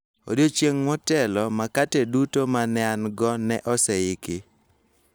Odiechieng� motelo, makate duto ma ne an-go ne oseiki